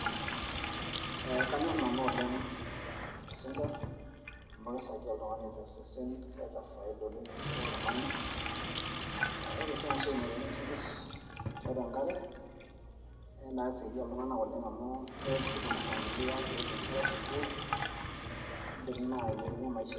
ee kanyorr nanu oleng isinkirr amu kisaidia oltung'ani oleng tosesen keeta faida oleng tosesen loltung'ani ore oshi ena siai naitaini isinkirr tiatua enkare naa kisaidia iltung'anak oleng amu keret sii kuna familia peepuo inkera sukuul idim naa ailepunyie maisha ee..